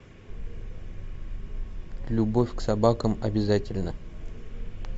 любовь к собакам обязательна